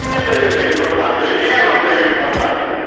вы мне даёте информацию или я вам даю информацию